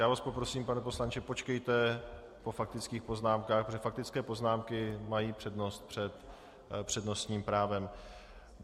Já vás poprosím, pane poslanče, počkejte po faktických poznámkách, protože faktické poznámky mají přednost před přednostním právem.